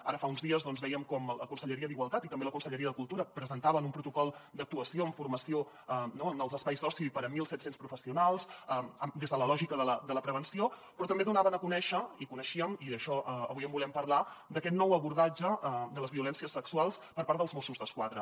ara fa uns dies vèiem com la conselleria d’igualtat i també la conselleria de cultura presentaven un protocol d’actuació en formació en els espais d’oci per a mil set cents professionals des de la lògica de la prevenció però també donaven a conèixer i coneixíem i d’això avui en volem parlar aquest nou abordatge de les violències sexuals per part dels mossos d’esquadra